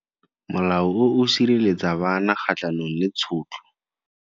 Molao o sireletsa bana kgatlhanong le tshotlo.